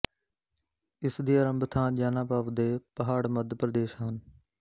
ਇਸਦੀ ਆਰੰਭ ਥਾਂ ਜਾਨਾਪਾਵ ਦੇ ਪਹਾੜਮੱਧ ਪ੍ਰਦੇਸ਼ ਹਨ